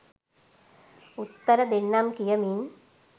උත්තර දෙන්නම් කියමින්